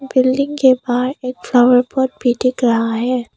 Building के बाहर एक फ्लावर भी दिख रहा है।